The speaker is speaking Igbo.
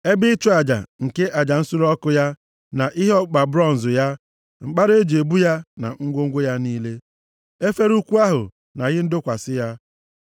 ebe ịchụ aja nke aja nsure ọkụ ya na ihe ọkpụkpa bronz ya, mkpara e ji ebu ya na ngwongwo ya niile, efere ukwu ahụ na ihe ndọkwasị ya.